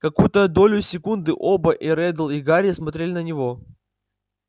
какую-то долю секунды оба и реддл и гарри смотрели на него